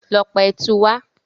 Lọ pa ẹtù wá!